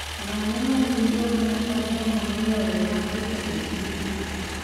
Ng'ano ma gin jogo madongo moloyo mag gita e kinde duto